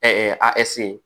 a